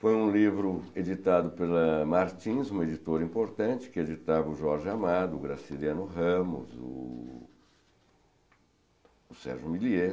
Foi um livro editado pela Martins, uma editora importante, que editava o Jorge Amado, o Graciliano Ramos, o o Sérgio milliet